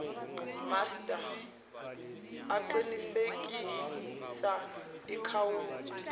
master aqinisekisa ikhawunti